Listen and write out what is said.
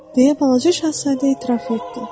deyə Balaca Şahzadə etiraf etdi.